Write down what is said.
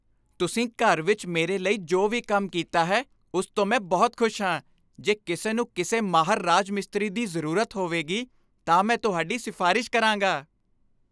ਤੁਸੀਂ ਘਰ ਵਿੱਚ ਮੇਰੇ ਲਈ ਜੋ ਵੀ ਕੰਮ ਕੀਤਾ ਹੈ, ਉਸ ਤੋਂ ਮੈਂ ਬਹੁਤ ਖੁਸ਼ ਹਾਂ। ਜੇ ਕਿਸੇ ਨੂੰ ਕਿਸੇ ਮਾਹਰ ਰਾਜ ਮਿਸਤਰੀ ਦੀ ਜ਼ਰੂਰਤ ਹੋਵੇਗੀ, ਤਾਂ ਮੈਂ ਤੁਹਾਡੀ ਸਿਫਾਰਸ਼ ਕਰਾਂਗਾ।